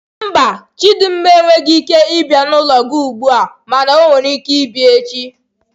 Mba, Chidinma enweghị ike ịbia n'ụlọ gị ugbu a mana ọ nwere ike ịbịa echi.